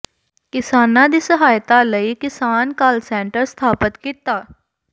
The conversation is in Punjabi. ਕਿਸਾਨਾਂ ਦੀ ਸਹਾਇਤਾ ਲਈ ਕਿਸਾਨ ਕਾਲ ਸੈਂਟਰ ਸਥਾਪਤ ਕੀਤਾ